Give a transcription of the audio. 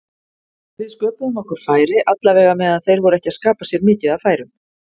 Við sköpuðum okkur færi allavega meðan þeir voru ekki að skapa sér mikið af færum.